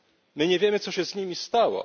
My nie wiemy, co się z nimi stało.